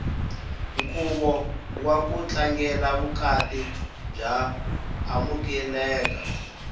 nkhuvo waku tlangela vukati wa amukeleka